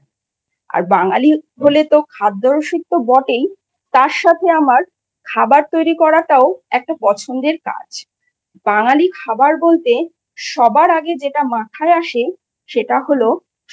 আর বাঙালি হলে তো খাদ্যরসিক তো বটেই তার সাথে আমার খাবার তৈরি করাটাও একটা পছন্দের কাজ। বাঙালি খাবার বলতে সবার আগে যেটা মাথায় আসে সেটা হল